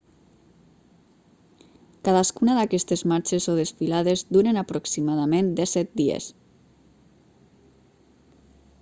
cadascuna d'aquestes marxes o desfilades duren aproximadament 17 dies